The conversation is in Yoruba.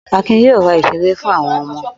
Akin yóò ra ìṣeré fún àwọn ọmọ.